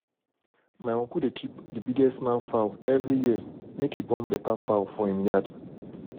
my uncle dey keep the biggest man fowl every year make e born better fowl for him yard.